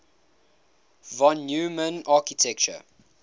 von neumann architecture